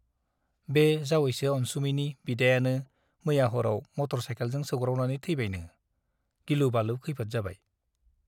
बे जावयैसो अनसुमैनि बिदायानो मैया हराव मटर साइकेलजों सौग्रावनानै थैबायनो , गिलु- बालु खैफोद जाबाय ।